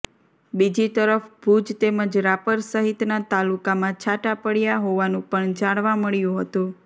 બીજી તરફ ભુજ તેમજ રાપર સહિતના તાલુકામાં છાંટા પડયા હોવાનું પણ જાણવા મળ્યું હતું